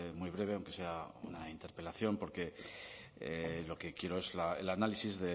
muy breve aunque sea una interpelación porque lo que quiero es el análisis